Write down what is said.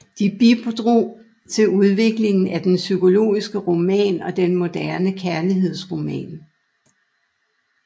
De bidrog til udviklingen af den psykologiske roman og den moderne kærlighedsroman